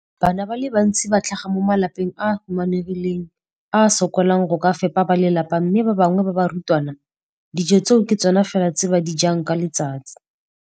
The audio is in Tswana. Bana ba le bantsi ba tlhaga mo malapeng a a humanegileng a a sokolang go ka fepa ba lelapa mme ba bangwe ba barutwana, dijo tseo ke tsona fela tse ba di jang ka letsatsi.